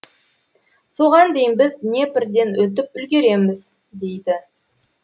соған дейін біз днепрден өтіп үлгереміз дейді